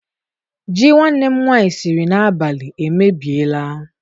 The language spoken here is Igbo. Ji nwanne m nwaanyị siri n'abalị emebiela.